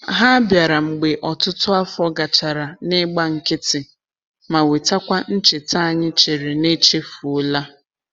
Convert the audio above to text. Ha bịara mgbe ọtụtụ afọ gachara n'igba nkịtị, ma wetakwa ncheta anyị chere na echefuola.